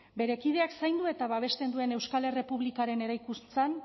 bere kideak zaindu eta babesten duen euskal errepublikaren eraikuntzan